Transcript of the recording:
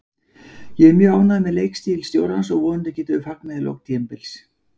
Ég er mjög ánægður með leikstíl stjórans og vonandi getum við fagnað í lok tímabils.